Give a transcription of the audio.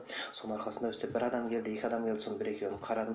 соның арқасында бізде бір адам келді екі адам келді соның бір екеуін қарадым